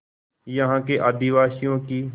यहाँ के आदिवासियों की